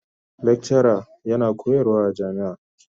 lekcara yana koyarwa a jami'a.